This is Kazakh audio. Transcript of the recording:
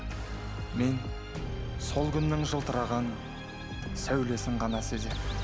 мен сол күннің жылтыраған сәулесін ғана сезем